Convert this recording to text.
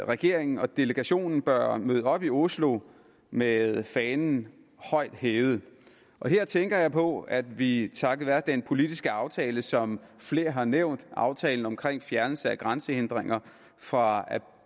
regeringen og delegationen bør møde op i oslo med fanen højt hævet her tænker jeg på at vi takket være den politiske aftale som flere har nævnt aftalen omkring fjernelse af grænsehindringer fra